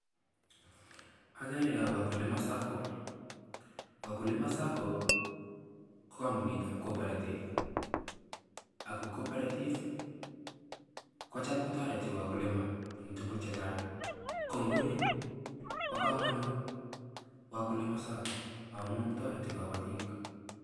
agere kap wakulima sacco. wakulima sacco ko kambunit ap coperative. ako coperative kocham kotareti wakulima eng tukun chechang ko nguni kopa kamanut wakulima sacco amu tareti kapatik.